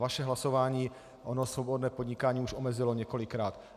Vaše hlasování ono svobodné podnikání už omezilo několikrát.